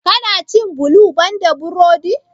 Ka na cin bulu ban da burodi?